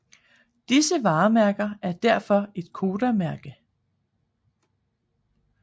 Disse varemærker er derfor et Kodakmærke